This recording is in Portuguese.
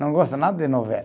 Não gosto nada de novela.